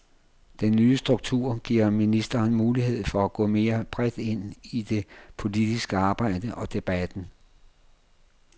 Den nye struktur giver ministeren mulighed for at gå mere bredt ind i det politiske arbejde og debatten.